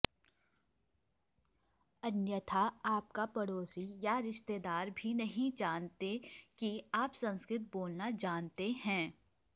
अन्यथा आपका पड़ोसी या रिश्तेदार भी नहीं जानते कि आप संस्कृत बोलना जानते हैं